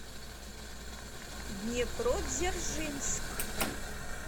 днепродзержинск